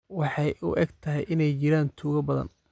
Waxay u egtahay inay jiraan tuugo badan